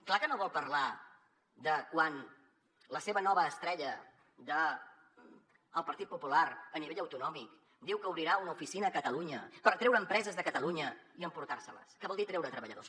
clar que no vol parlar de quan la seva nova estrella del partit popular a nivell autonòmic diu que obrirà una oficina a catalunya per atreure empreses de catalunya i emportar se les que vol dir treure treballadors